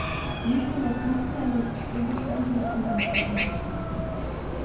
Niso napihnjeni, egocentrični in egoistični.